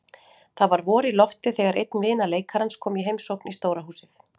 Það var vor í lofti þegar einn vina leikarans kom í heimsókn í stóra húsið.